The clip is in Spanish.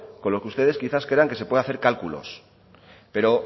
con lo que ustedes quizás crean que se puede hacer cálculos pero